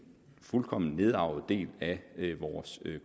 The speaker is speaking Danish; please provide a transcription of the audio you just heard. fuldkommen nedarvet del af vores